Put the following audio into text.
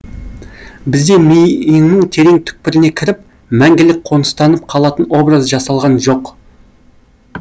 бізде миыңның терең түкпіріне кіріп мәңгілік қоныстанып қалатын образ жасалған жоқ